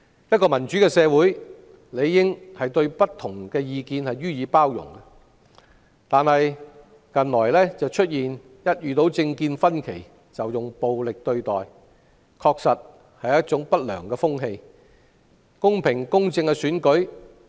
一個民主社會理應對不同意見予以包容，但近來一旦出現政見分歧，便招徠暴力對待，確實是一種不良風氣。